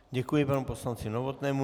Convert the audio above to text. Děkuji panu poslanci Novotnému.